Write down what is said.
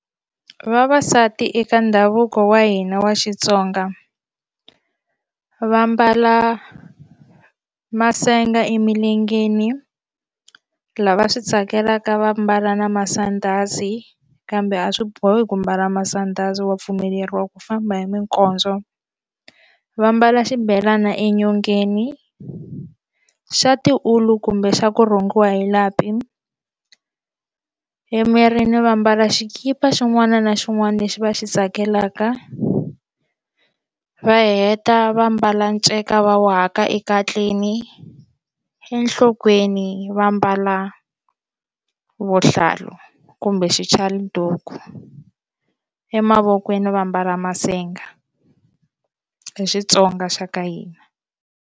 Vavasati eka ndhavuko wa hina wa Xitsonga va mbala masenga emilengeni lava swi tsakelaka va mbala na masandhazi kambe a swi bohi ku mbala masandhazi wa pfumeleriwa ku famba hi minkondzo va mbala xibelana enyongeni xa tiwulu kumbe xa ku rhungiwa hi lapi emirini va mbala xikipa xin'wana na xin'wana lexi va xi tsakelaka va heta va mbala nceka va waka ekatleni enhloko va mbala vuhlalu kumbe xichaluduku emavokweni va mbala masenga hi Xitsonga xa ka hina.